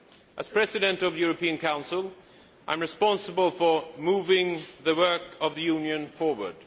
As President of the European Council, I am responsible for moving the work of the Union forward.